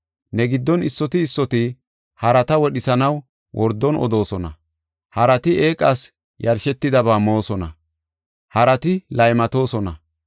Ne giddon issoti issoti harata wodhisanaw wordon odoosona; harati eeqas yashetidaba moosona; harati laymatoosona.